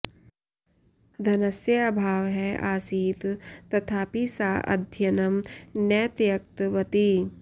धनस्य अभावः आसीत् तथापि सा अध्ययनं न त्यक्तवती